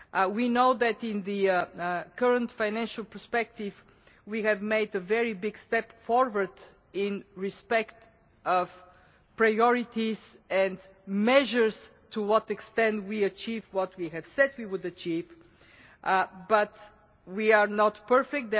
We know that in the current financial perspective we have made a very big step forward in respect of priorities and measures to what extent we achieved what we have said we would achieve, but we are not perfect